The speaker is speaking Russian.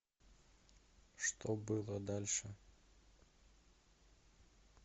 что было дальше